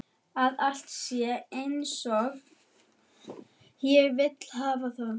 Að allt sé einsog ég vil hafa það.